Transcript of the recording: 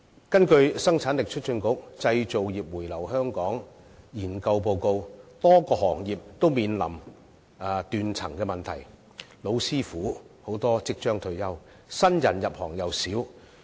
根據香港生產力促進局的《製造業回流香港研究報告》，多個行業均面臨斷層問題，很多"老師傅"即將退休，入行的新人又少。